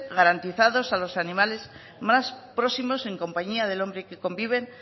garantizados a los animales más próximos en compañía del hombre y que conviven